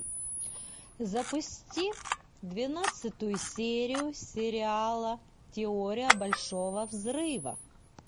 запусти двенадцатую серию сериала теория большого взрыва